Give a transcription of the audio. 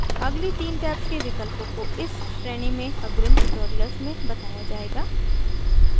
अगली 3 tabs के विकल्पों को इस श्रेणी में अग्रिम tutorials में बताया जायेगा